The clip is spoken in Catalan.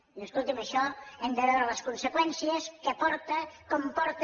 diu escolti’m això hem de veure les conseqüències què porta com ho porta